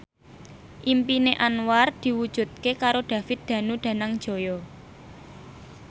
impine Anwar diwujudke karo David Danu Danangjaya